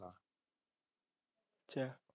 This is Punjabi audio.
ਅੱਛਾ